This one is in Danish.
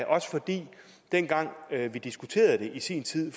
også fordi dengang vi diskuterede det i sin tid i